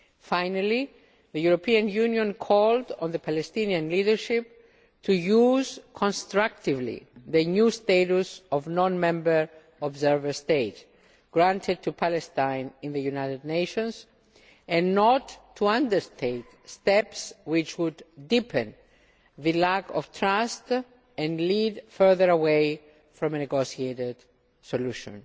Finally, the European Union called on the Palestinian leadership to use constructively the new status of non member observer state granted to Palestine in the United Nations and not to undertake steps which would deepen the lack of trust and lead further away from a negotiated solution.